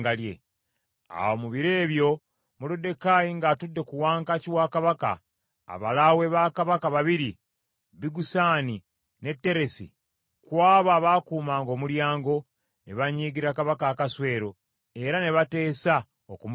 Awo mu biro ebyo Moluddekaayi ng’atudde ku wankaaki wa Kabaka, abalaawe ba Kabaka babiri, Bigusani ne Teresi, ku abo abaakuumanga omulyango, ne banyiigira Kabaka Akaswero, era ne bateesa okumutemula.